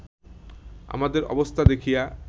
আমাদের অবস্থা দেখিয়া